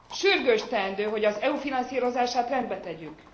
Sürgős teendő, hogy az EU finanszírozását rendbe tegyük!